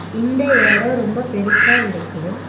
இந்த எடோ ரொம்ப பெருசா இருக்கு.